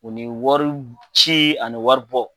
o ni wari ci ani wari bɔ